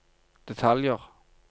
detaljer